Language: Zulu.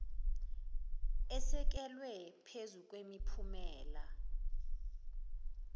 esekelwe phezu kwemiphumela